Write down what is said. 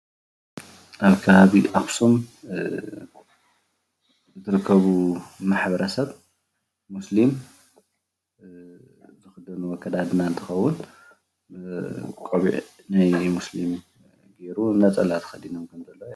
ኣብ ከባቢ ኣክሱም ዝርከቡ ማሕበረ ሰብ ሞስሊም ዝክደንዎ ኣከዳድና እንትከውን ቆቢዕ ናይ ሞስሊም ገይሩ ነፀላ ተከዲኖም ከም ዘለው ይረኣ።